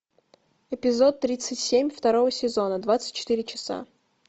эпизод тридцать семь второго сезона двадцать четыре часа